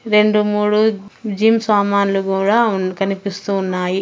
రెండు మూడు జిమ్ సామాన్లు కూడా ఉన్న కనిపిస్తూ ఉన్నాయి.